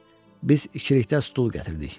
Biz ikilikdə stul gətirdik.